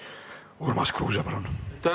Urmas Kruuse, palun!